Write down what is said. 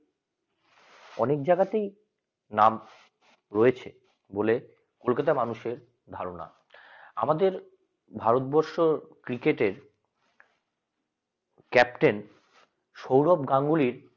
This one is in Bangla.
অনেক জায়গাতে নাম রয়েছে বলে কলকাতা মানুষের ধারণা তোমাদের ভারতবর্ষ cricket এর captain সৌরভ গাঙ্গুলীর